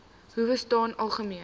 howe staan algemeen